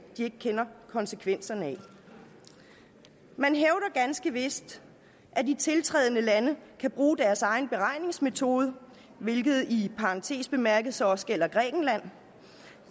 de ikke kender konsekvenserne af man hævder ganske vist at de tiltrædende lande kan bruge deres egen beregningsmetode hvilket i parantes bemærket så også gælder grækenland